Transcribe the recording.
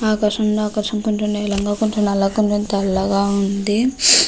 ఆకాశంలో ఆకాశం కొంచెం నీలంగా కొంచెం నల్లగా కొంచెం తెల్లగా ఉంది.